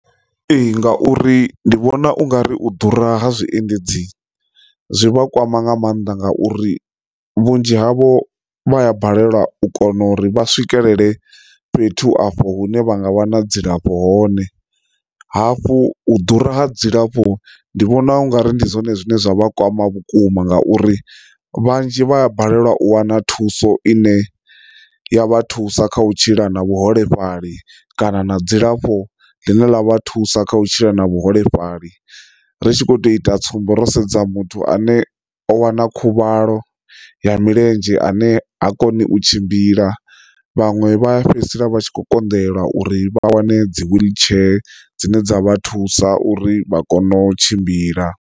Ee, ngauri ndi vhona u nga ri u ḓura ha zwiendedzi zwi vha kwama nga mannḓa ngauri vhunzhi havho vha a balelwa u kona uri vha swikelele fhethu afho hune vha nga wana dzilafho hone, hafhu u ḓura ha dzilafho ndi vhona ungari ndi zwone zwine zwa vha kwama vhukuma ngauri vhanzhi vha a balelwa u wana thuso ine ya vha thusa kha u tshila na vhuholefhali kana na dzilafho ḽine ḽa vha thusa kha u tshila na vhuholefhali. Ri tshi khou tou ita tsumbo ro sedza muthu ane o wana khuvhalo ya milenzhe ane ha koni u tshimbila vhaṅwe vha fhedzisela vha tshi khou konḓelwa uri vha wane dzi wheelchair dzine dza vha thusa uri vha kone u tshimbila.